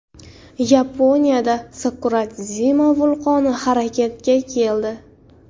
Yaponiyada Sakuradzima vulqoni harakatga keldi.